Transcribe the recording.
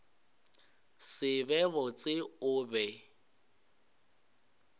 se be botse o be